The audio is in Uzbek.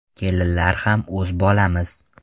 Kelinlar ham o‘z bolamiz.